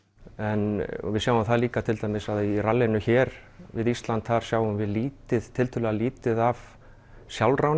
en við sjáum það líka til dæmis í rallinu hér við Ísland þar sjáum við lítið tiltölulega lítið af